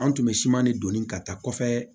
An tun bɛ siman ne donni ka taa kɔfɛ